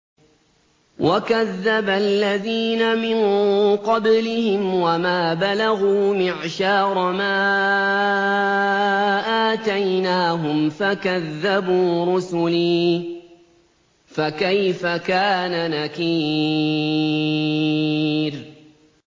وَكَذَّبَ الَّذِينَ مِن قَبْلِهِمْ وَمَا بَلَغُوا مِعْشَارَ مَا آتَيْنَاهُمْ فَكَذَّبُوا رُسُلِي ۖ فَكَيْفَ كَانَ نَكِيرِ